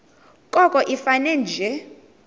koko ifane nje